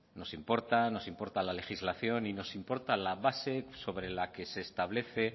nos importa nos importa la legislación y nos importa la base sobre la que se establece